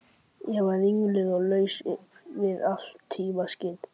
Ég var ringluð og laus við allt tímaskyn.